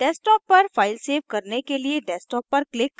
desktop पर file save करने के लिए desktop पर click करें